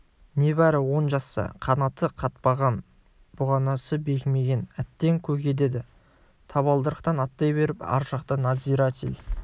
небары он жаста қанаты қатпаған бұғанасы бекімеген әттең көке деді табалдырықтан аттай беріп ар жақта надзиратель